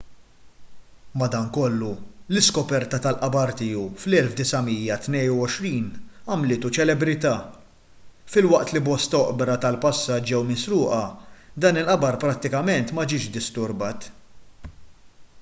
madankollu l-iskoperta tal-qabar tiegħu fl-1922 għamlitu ċelebrità filwaqt li bosta oqbra tal-passat ġew misruqa dan il-qabar prattikament ma ġiex disturbat